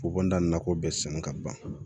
Fokohoda nakɔ bɛɛ sɔnna ka ban